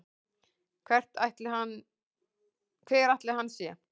Hver ætli hann sé?